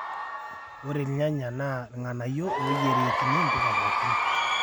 ore ilnyanya naa ilng'anayio ooyierieki mpuka pookin